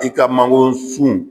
I ka mangoro sun